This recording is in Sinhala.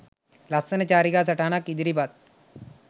ලස්සන චාරිකා සටහනක් ඉදිරිපත්